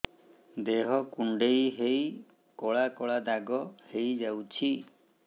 ଦେହ କୁଣ୍ଡେଇ ହେଇ କଳା କଳା ଦାଗ ହେଇଯାଉଛି